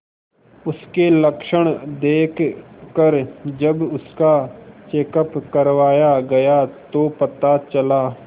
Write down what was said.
उसके लक्षण देखकरजब उसका चेकअप करवाया गया तो पता चला